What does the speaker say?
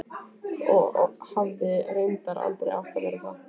Og hefði reyndar aldrei átt að verða það.